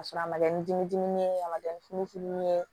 Ka sɔrɔ a ma kɛ ni dimi dimi ye a ma kɛ ni funufununi ye